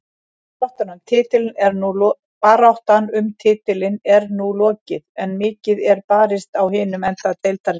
Baráttan um titilinn er nú lokið en mikið er barist á hinum enda deildarinnar.